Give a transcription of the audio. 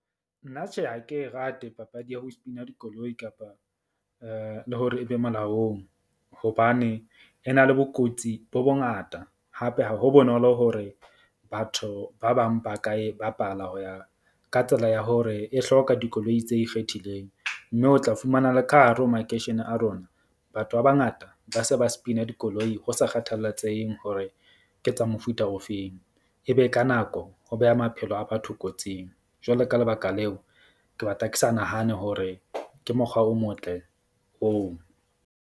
Nna tjhe, ha ke rate papadi ya ho spin-a dikoloi kapa le hore e be molaong hobane e na le bokotsi bo bongata. Hape ha ho bonolo hore batho ba bang ba ka e bapala ho ya ka tsela ya hore e hloka dikoloi tse ikgethileng. Mme o tla fumana le ka hare ho makeishene a rona. Batho ba bangata ba se ba spin-a dikoloi ho sa kgathalatseheng hore ke tsa mofuta ofeng. E be ka nako ho beha maphelo a batho kotsing jwalo ka lebaka leo, ke batla ke sa nahane hore ke mokgwa o motle oo.